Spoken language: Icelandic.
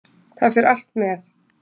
Það fer allt með.